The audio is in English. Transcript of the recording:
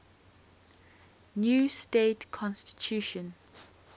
new state constitution